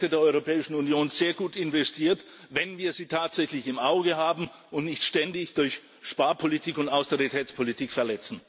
Und da sind die Werte der Europäischen Union sehr gut investiert, wenn wir sie tatsächlich im Auge haben und nicht ständig durch Sparpolitik und Austeritätspolitik verletzen.